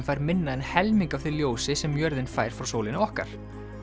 fær minna en helming af því ljósi sem jörðin fær frá sólinni okkar